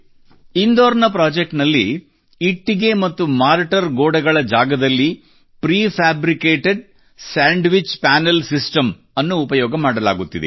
ಇಂದೋರ್ ನ ಪ್ರೊಜೆಕ್ಟ್ ನಲ್ಲಿ ಇಟ್ಟಿಗೆ ಮತ್ತು ಮಾರ್ಟರ್ ಗೋಡೆಗಳ ಜಾಗದಲ್ಲಿ ಪ್ರಿಫ್ಯಾಬ್ರಿಕೇಟೆಡ್ ಸ್ಯಾಂಡ್ವಿಚ್ ಪನೆಲ್ ಸಿಸ್ಟಮ್ ನ ಉಪಯೋಗ ಮಾಡಲಾಗುತ್ತಿದೆ